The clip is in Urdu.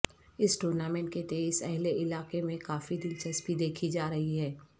اس ٹورنامنٹ کے تئیں اہل علاقہ میں کافی دلچسپی دیکھی جا رہی ہے